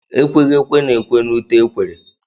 Ekweghị ekwe na-ekwe na ute ekwere.